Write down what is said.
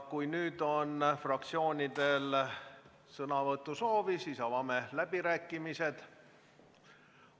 Kui fraktsioonidel on sõnavõtusoove, siis avame läbirääkimised.